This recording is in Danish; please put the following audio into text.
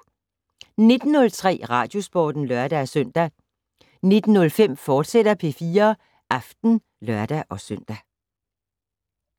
19:03: Radiosporten (lør-søn) 19:05: P4 Aften, fortsat (lør-søn)